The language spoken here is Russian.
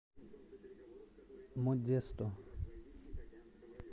модесто